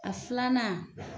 A filanan